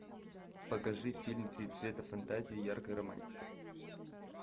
покажи фильм три цвета фантазии яркая романтика